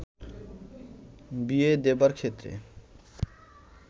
বিয়ে দেবার ক্ষেত্রে